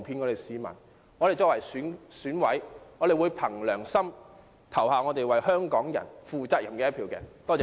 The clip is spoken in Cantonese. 我們作為選委，會憑良心為香港人投下負責任的一票。